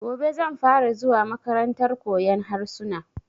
Gobe zan fara zuwa makarantar koyan harsuna